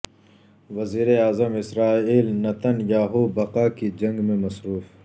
وزیراعظم Israel Netanyahu بقا کی جنگ میں مصروف